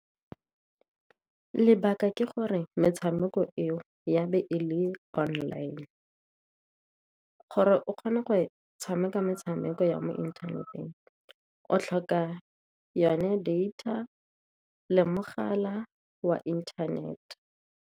Lebaka ke gore metshameko eo ya be e le online, gore o kgone go e tshameka metshameko ya mo inthaneteng, o tlhoka yone data le mogala wa inthanete.